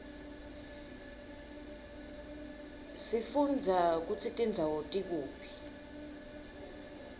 sifundza kutsi tindzawo tikuphi